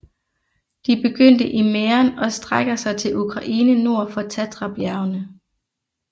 De begynder i Mähren og strækker sig til Ukraine nord for Tatrabjergene